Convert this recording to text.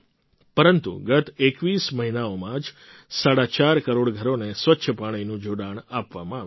પરંતુ ગત ૨૧ મહિનાઓમાં જ સાડા ચાર કરોડ ઘરોને સ્વચ્છ પાણીનાં જોડાણ આપવામાં આવ્યાં છે